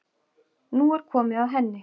Nú er komið að henni